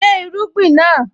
Gbé irúgbìn náà!